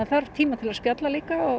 þarf tíma til að spjalla